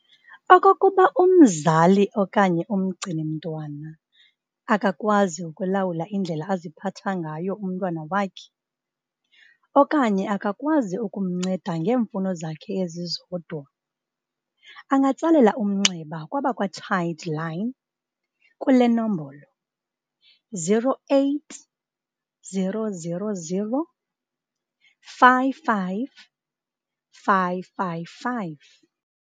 Okokuba umzali okanye umgcini-mntwana akakwazi ukulawula indlela aziphatha ngayo umntwana wakhe, okanye akakwazi ukumnceda ngeemfuno zakhe ezizodwa, angatsalela umnxeba kwabakwa-Childline kule nombolo- 08 000 55 555.